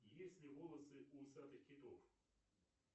есть ли волосы у усатых китов